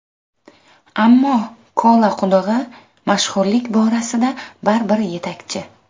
Ammo Kola qudug‘i mashhurlik borasida baribir yetakchi.